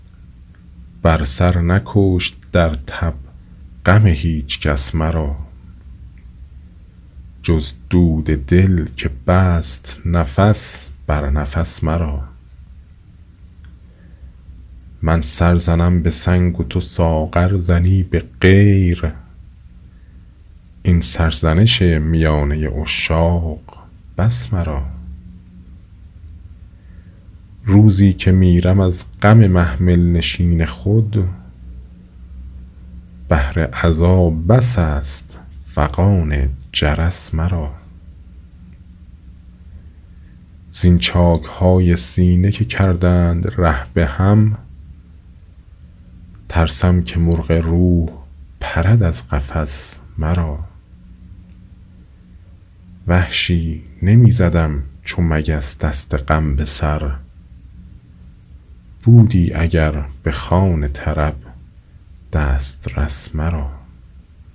بر سر نکشت درتب غم هیچکس مرا جز دود دل که بست نفس بر نفس مرا من سر زنم به سنگ و تو ساغر زنی به غیر این سرزنش میانه عشاق بس مرا روزی که میرم از غم محمل نشین خود بهر عزا بس است فغان جرس مرا زین چاکهای سینه که کردند ره به هم ترسم که مرغ روح پرد از قفس مرا وحشی نمی زدم چو مگس دست غم به سر بودی اگر به خوان طرب دسترس مرا